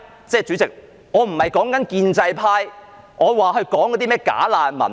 主席，我指的並非建制派說的甚麼"假難民"。